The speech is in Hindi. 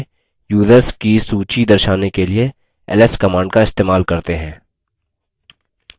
home folder में users की सूची दर्शाने के लिए ls command का इस्तेमाल करते हैं